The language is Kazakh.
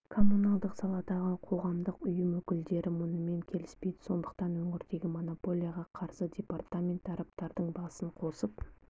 коммуналдық салададағы қоғамдық ұйым өкілдері мұнымен келіспейді сондықтан өңірдегі монополияға қарсы департмент тараптардың басын қосып